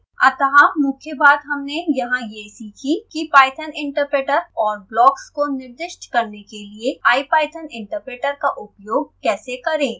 अतः मुख्य बात हमने यहाँ यह सीखी कि python interpreter और blocks को निर्दिष्ट करने के लिए ipython interpreter का उपयोग कैसे करें